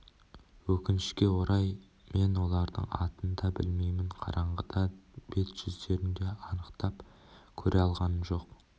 өкінішке орай мен олардың атын да білмеймін қараңғыда бет-жүздерін де анықтап көре алғамын жоқ